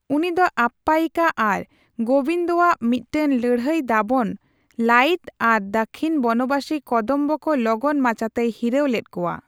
ᱩᱱᱤ ᱫᱚ ᱟᱯᱯᱟᱭᱤᱠᱟ ᱟᱨ ᱜᱳᱵᱤᱱᱫᱚᱣᱟᱜ ᱢᱤᱫᱴᱟᱝ ᱞᱟᱹᱲᱦᱟᱭ ᱫᱟᱵᱚᱱ ᱞᱟᱹᱝᱤᱫ ᱟᱨ ᱫᱟᱹᱠᱷᱤᱱ ᱵᱚᱱᱚᱵᱟᱥᱤ ᱠᱚᱫᱚᱢᱵᱚ ᱠᱚ ᱞᱚᱜᱚᱱ ᱢᱟᱪᱷᱟᱛᱮᱭ ᱦᱤᱨᱟᱹᱣ ᱞᱮᱫ ᱠᱚᱣᱟ ᱾